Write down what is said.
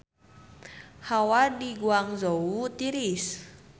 Hawa di Guangzhou tiris